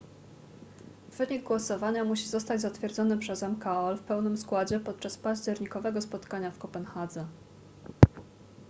wynik głosowania musi zostać zatwierdzony przez mkol w pełnym składzie podczas październikowego spotkania w kopenhadze